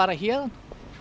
héðan